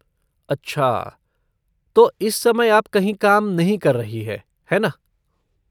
अच्छा, तो इस समय आप कहीं काम नहीं कर रही हैं, है ना?